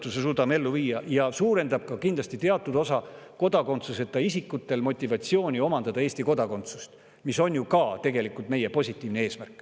suurendab see kindlasti teatud osa kodakondsuseta isikute motivatsiooni omandada Eesti kodakondsus – see on ju ka tegelikult meie positiivne eesmärk.